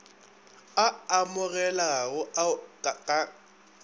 a amogelegago ao o ka